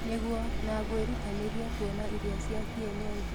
Nĩguo, na ngwĩrutanĩria kũona irio cia kĩenyenji.